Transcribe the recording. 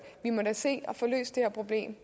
vi må da se at få løst det her problem